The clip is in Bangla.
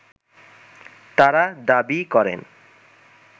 তারা দাবি করেন